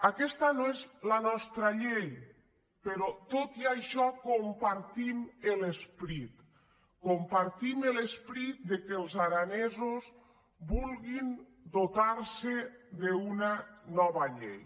aquesta no és la nostra llei però tot i això en compartim l’esperit compartim l’esperit que els aranesos vulguin dotar·se d’una nova llei